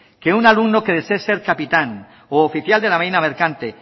que un alumno que desee ser capitán u oficial de la marina mercante